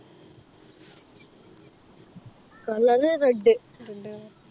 Colour red